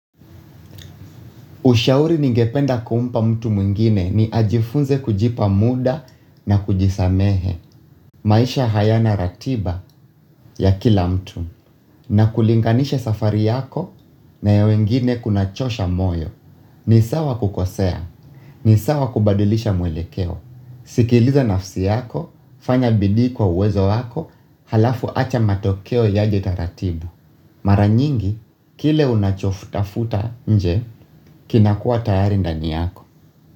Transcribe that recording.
Ushauri ningependa kumpa mtu mwengine ni, ajifunze kujipa mda na kujisamehe. Maisha hayana ratiba ya kila mtu. Na kulinganisha safari yako na ya wengine kunachosha moyo. Ni sawa kukosea. Ni sawa kubadilisha mwelekeo. Sikiliza nafsi yako, fanya bidii kwa uwezo wako, halafu acha matokeo yaje taratibu. Mara nyingi, kile unachotafuta nje, kinakua tayari ndani yako.